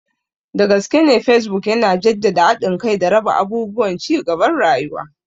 Dagaskene Facebook yana jaddada haɗin kai da raba abubuwan cigaban rayuwa.